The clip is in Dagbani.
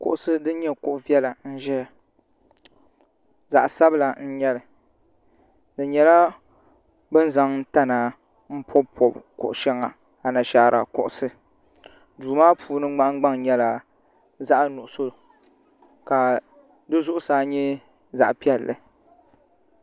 ŋɔlooŋɔ nyɛla paɣiba ata m-be kpe na ŋɔ ka taha mini firaayin- painnima zaya ka yino zaŋ toli mini tiliɡa ka piiri bindiriɡu niŋdi di puuni ni o to hali nɔhi ɡba kuli za n-zami no' chichɛra no' ʒee no' sabinli ni bɔraadenima ka di kuli puhi vari za bɛ nyaaŋa